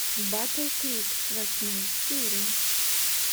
батл крик восьмая серия